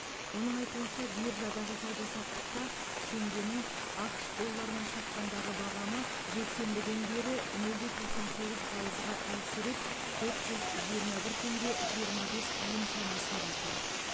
оның айтуынша биржадағы сауда саттықта теңгенің ақш долларына шаққандағы бағамы жексенбіден бері нөл де тоқсан сегіз пайызға әлсіреп төрт жүз жиырма бір тенге жиырма бес тиын шамасында тұр